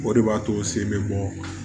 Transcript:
O de b'a to sen bɛ bɔ